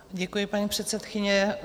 Děkuji, paní předsedkyně.